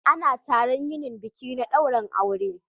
Ana taron yinin biki na dairin aure